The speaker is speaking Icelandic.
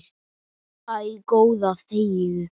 Æ, góða þegiðu.